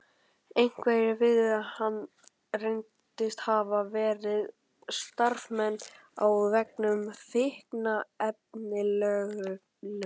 Einhverjir viðskiptavina hans reyndust hafa verið starfsmenn á vegum fíkniefnalögreglunnar.